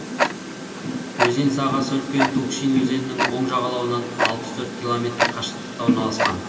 өзен сағасы үлкен тукшин өзенінің оң жағалауынан алпыс төрт километр қашықтықта орналасқан